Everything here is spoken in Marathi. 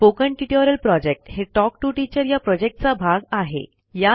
स्पोकन ट्युटोरियल प्रॉजेक्ट हे टॉक टू टीचर या प्रॉजेक्टचा भाग आहे